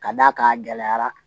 Ka d'a kan a gɛlɛyara